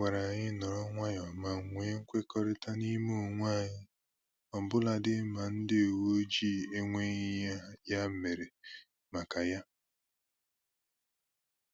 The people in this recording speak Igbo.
Ha gwara anyị nọrọ nwayọọ ma nwe mkwekọrịta n'ime onwe anyị ọbụladị ma ndị uwe ojii enweghị ihe ya mere maka ya